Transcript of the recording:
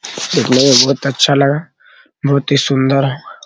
बहुत ही अच्छा लगा बहुत ही सुन्दर है।